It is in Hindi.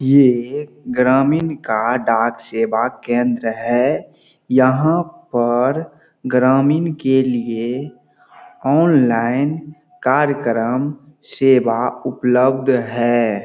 ये एक ग्रामीन का डाक सेवा केंद्र है यहाँ पर ग्रामीण के लिए ऑनलाइन कार्यक्रम सेवा उपलब्ध है।